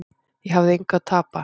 Ég hafði engu að tapa.